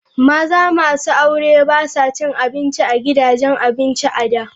Maza masu aure ba sa cin abinci a gidajen abinci a da.